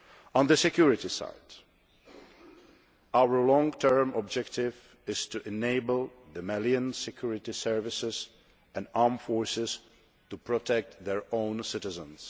On the security side, our long term objective is to enable the Malian security services and armed forces to protect their own citizens.